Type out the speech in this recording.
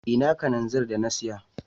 Ina Kananzir da na siya.